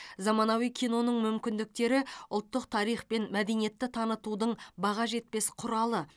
заманауи киноның мүмкіндіктері ұлттық тарих пен мәдениетті танытудың баға жетпес құралы